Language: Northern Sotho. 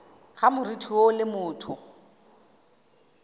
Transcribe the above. ga moriti woo le motho